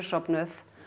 sofnuð